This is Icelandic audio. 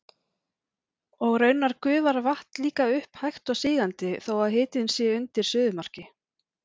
Og raunar gufar vatn líka upp hægt og sígandi þó að hitinn sé undir suðumarki.